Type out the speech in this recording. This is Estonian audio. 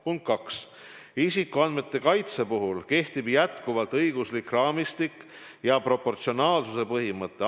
Punkt 2: isikuandmete kaitse puhul kehtib jätkuvalt õiguslik raamistik, sealhulgas proportsionaalsuse põhimõte.